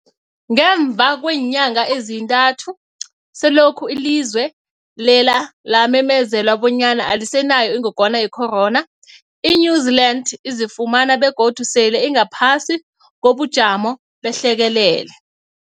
Ngemva kweenyanga ezintathu selokhu ilizwe lela lamemezela bonyana alisenayo ingogwana ye-corona, i-New-Zealand izifumana godu sele ingaphasi kobujamo behlekelele.